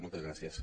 moltes gràcies